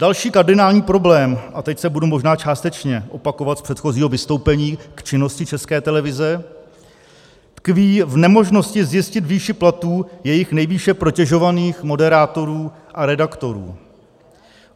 Další kardinální problém, a teď se budu možná částečně opakovat z předchozího vystoupení k činnosti České televize, tkví v nemožnosti zjistit výši platů jejich nejvíce protežovaných moderátorů a redaktorů.